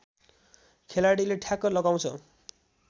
खेलाडीले ठ्याक लगाउँछ